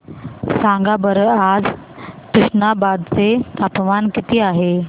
सांगा बरं आज तुष्णाबाद चे तापमान किती आहे